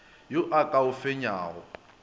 yo a ka o fenyago